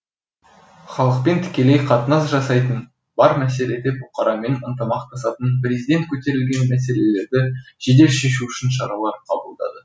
халықпен тікелей қатынас жасайтын бар мәселеде бұқарамен ынтымақтасатын президент көтерілген мәселелерді жедел шешу үшін шаралар қабылдады